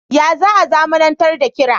Ya za a zamanantar da kira.?